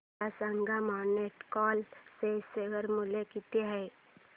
मला सांगा Monte Carlo चे शेअर मूल्य किती आहे